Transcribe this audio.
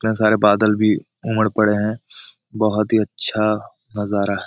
यहा सारे बादल भी उमड़ पड़े है बहुत ही अच्छा नजारा है|